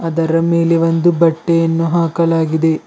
ಅದರ ಮೇಲೆ ಒಂದು ಬಟ್ಟೆಯನ್ನು ಹಾಕಲಾಗಿದೆ.